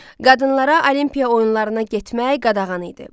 Qadınlara Olimpiya oyunlarına getmək qadağan idi.